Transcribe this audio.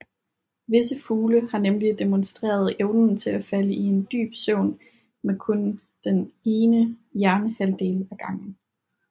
Visse fugle har nemlig demonstreret evnen til at falde i en dyb søvn med kun den ene hjernehalvdel ad gangen